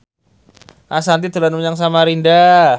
Ashanti dolan menyang Samarinda